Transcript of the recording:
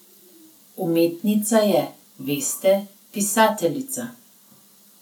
Umetnica je, veste, pisateljica.